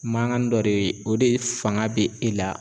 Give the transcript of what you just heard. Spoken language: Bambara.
Maŋan dɔ de o de faŋa be e la